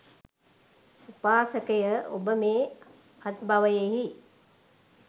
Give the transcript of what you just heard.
උපාසකය, ඔබ මේ අත්බවයෙහි